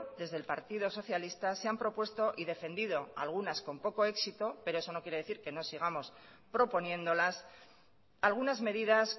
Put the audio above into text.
desde el partido socialista se han propuesto y defendido algunas con poco éxito pero eso no quiere decir que no sigamos proponiéndolas algunas medidas